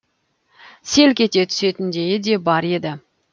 селк ете түсетіндейі де бар еді